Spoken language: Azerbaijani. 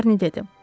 Şarni dedi: